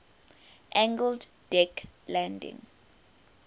angled deck landing